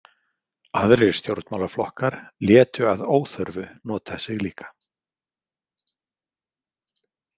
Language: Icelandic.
Aðrir stjórnmálaflokkar létu að óþörfu nota sig líka.